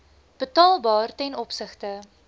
betaalbaar ten opsigte